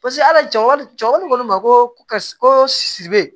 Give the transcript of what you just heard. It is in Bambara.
Paseke ala jaw ja wari ko ne ma ko karisa ko sisi bɛ